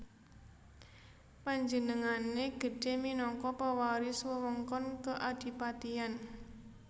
Panjenengané gedhé minangka pewaris wewengkon keadipatian